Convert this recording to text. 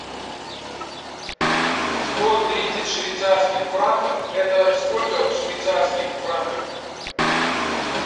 сто тридцать швейцарских франков это сколько в швейцарских франках